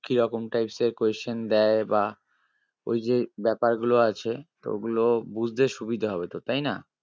কিরকম type এর question দেয় বা ওই যে ব্যাপারগুলো আছে তো ওগুলো বুঝতে সুবিধে হবে তোর তাই না?